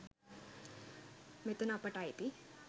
මෙතන අපට අයිතියි